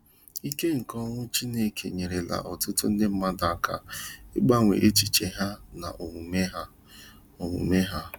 Ike nke okwu Chineke enyerela ọtụtụ ndị mmadụ aka ịgbanwe echiche ha na omume ha. omume ha.